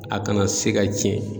A kana se ka tiɲɛ.